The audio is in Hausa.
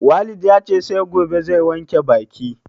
Walid yace sai gobe zai wanke baki